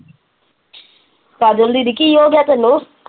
ਕਜਲ ਦੀਦੀ ਕੀ ਹੋ ਗਇਆ ਤੈਨੂੰ?